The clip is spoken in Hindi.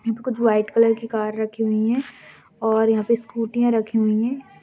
कुछ व्हाइट कलर की कार रखी हुई है और यहाँ पे स्कूटीयाँ रखी हुई है।